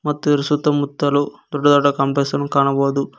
ಮತ್ತು ಇದರ ಸುತ್ತಮುತ್ತಲು ದೊಡ್ಡ ದೊಡ್ಡ ಕಾಂಪ್ಲೆಕ್ಸ್ ಅನ್ನು ಕಾಣಬಹುದು.